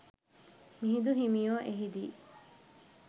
මිහිඳු හිමියෝ එහි දී